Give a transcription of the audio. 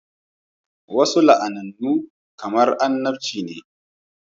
Wasu la'anannu kamar annabci ne